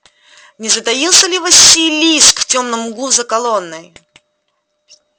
не затаился ли василиск в тёмном углу за колонной